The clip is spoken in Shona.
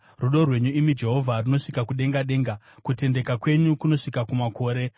Rudo rwenyu, imi Jehovha, runosvika kudenga denga, kutendeka kwenyu kunosvika kumakore.